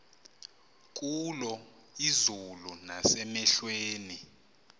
kulo izulu nasemehlweni